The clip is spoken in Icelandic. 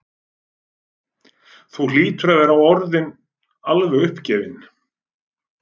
Þú hlýtur að vera orðinn alveg uppgefinn.